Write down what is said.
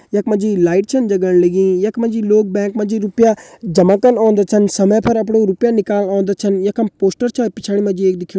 यख मा जी लाइट छन जगण लगीं यख मा जी बैंक मा जी रुपया जमा कन ओन्दा छन समय पर अपड़ु रुपया नीकाल ओन्दा छन यखम एक पोस्टर छा पिछाड़ी मा जी एक दिखेणु।